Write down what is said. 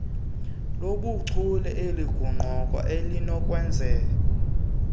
lobuchule elingundoqo elinokwenza